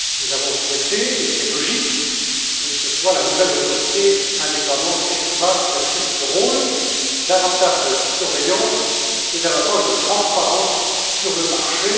Nous avons souhaité et c'est logique que ce soit la nouvelle autorité indépendante ESMA qui assume ce rôle davantage de surveillance et davantage de transparence sur le marché.